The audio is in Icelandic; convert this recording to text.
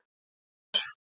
Þar stendur:.